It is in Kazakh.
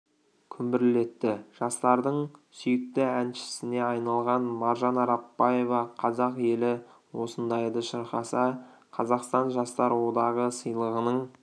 күмбірлетті жастардың сүйікті әншісіне айналған маржан арапбаева қазақ елі осындайды шырқаса қазақстан жастар одағы сыйлығының